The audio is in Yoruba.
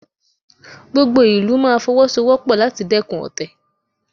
Gbogbo ìlú máa Fọwọ́sowọ́pọ̀ láti dẹ́kun ọ̀tẹ̀